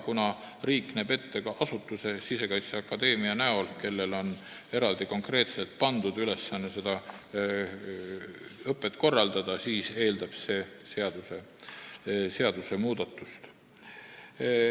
Kuna riik näeb ette ka konkreetse asutuse, Sisekaitseakadeemia, kellele on pandud eraldi ülesanne seda õpet korraldada, siis eeldab see seadusmuudatust.